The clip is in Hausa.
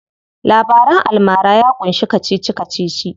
Labaran almara ya ƙunshi kacici kacici.